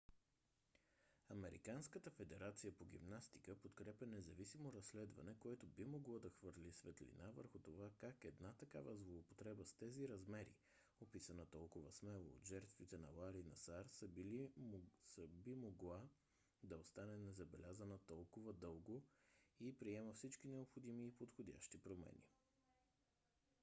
американската федерация по гимнастика подкрепя независимо разследване което би могло да хвърли светлина върху това как една такава злоупотреба с тези размери описана толкова смело от жертвите на лари насар би могла да остане незабелязана толкова дълго и приема всички необходими и подходящи промени